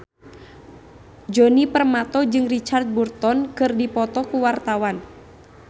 Djoni Permato jeung Richard Burton keur dipoto ku wartawan